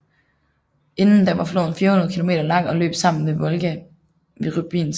Inden da var floden 400 kilometer lang og løb sammen med Volga ved Rybinsk